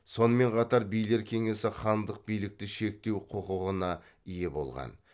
сонымен қатар билер кеңесі хандық билікті шектеу құқығына ие болған